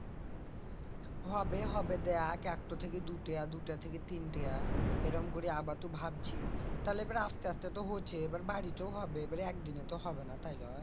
হবে হবে দেখ একটো থেকে দুইটা দুইটা থেকে তিনটা এরকম করে ভাবছি তালে এবার আস্তে আস্তে তো হচ্ছে এবার বাড়িটোই হবে এবার একদিনে তো হবে না তাই লই?